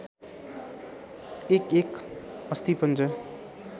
एकएक अस्थिपञ्जर